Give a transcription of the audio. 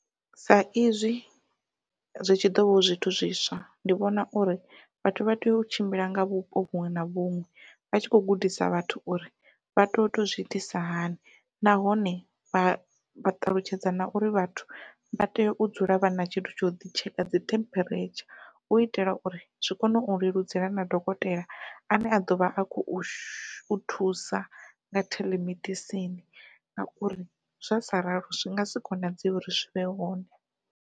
Sa izwi zwi tshi ḓovha hu zwithu zwiswa, ndi vhona uri vhathu vha tea u tshimbila nga vhupo vhuṅwe na vhuṅwe vha tshi kho gudisa vhathu uri vha tea uto zwi itisa hani nahone vha vha ṱalutshedza na uri vhathu vha tea u dzula vhana tshithu tsha uḓi tsheka dzi temperature hu itela uri zwi kone u leludzela na dokotela ane a ḓovha a khou thusa nga theḽemedisini ngauri zwa sa ralo zwi ngasi konadzeye uri zwi vhe hone.